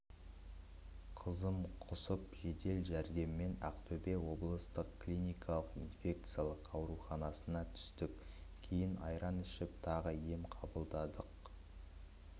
қызым құсып жедел жәрдеммен ақтөбе облыстық клиникалық инфекциялық ауруханасына түстік кейін айран ішіп тағы ем қабылдадық